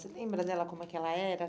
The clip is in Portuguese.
Você lembra dela como é que ela era?